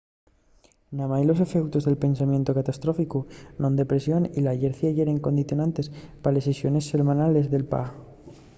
namái los efeutos del pensamientu catastróficu non depresión y la llercia yeren condicionantes pa les sesiones selmanales de pa